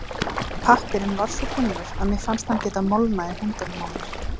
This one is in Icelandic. Pappírinn var svo þunnur að mér fannst hann geta molnað í höndunum á mér.